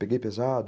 Peguei pesado.